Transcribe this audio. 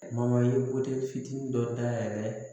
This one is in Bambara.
i ye fitinin dɔ dayɛlɛ